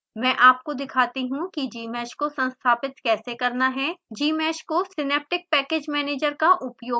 मैं आपको दिखाता हूँ कि gmsh को संस्थापित कैसे करना है gmsh को सिनैप्टिक पैकेज मैनेजर का उपयोग करके भी संस्थापित कर सकते हैं